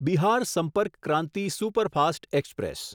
Bihar Sampark Kranti superfast express